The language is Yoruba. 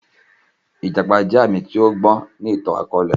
Ijàpá jẹ aami ti ọgbọn ni ìtan-akọọlẹ.